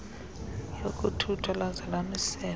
yokuthuthwa laza lamisela